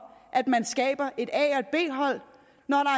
at man skaber et a